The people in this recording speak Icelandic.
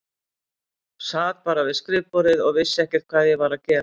Sat bara við skrifborðið og vissi ekkert hvað ég var að gera.